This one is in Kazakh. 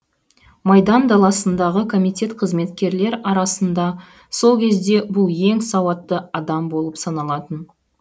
майдан даласындағы комитет қызметкерлер арасында сол кезде бұл ең сауатты адам болып саналатын